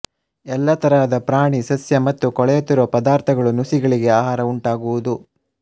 ಎಲ್ಲ ತರಹದ ಪ್ರಾಣಿ ಸಸ್ಯ ಮತ್ತು ಕೊಳೆಯುತ್ತಿರುವ ಪದಾರ್ಥಗಳು ನುಸಿಗಳಿಗೆ ಆಹಾರವಾಗುವುದುಂಟು